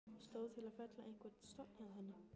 Stóð til að fella einhvern stofn hjá henni?